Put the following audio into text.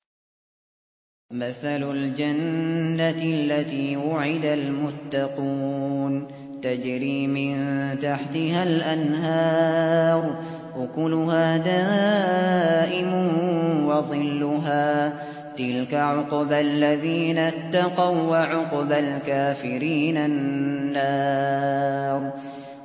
۞ مَّثَلُ الْجَنَّةِ الَّتِي وُعِدَ الْمُتَّقُونَ ۖ تَجْرِي مِن تَحْتِهَا الْأَنْهَارُ ۖ أُكُلُهَا دَائِمٌ وَظِلُّهَا ۚ تِلْكَ عُقْبَى الَّذِينَ اتَّقَوا ۖ وَّعُقْبَى الْكَافِرِينَ النَّارُ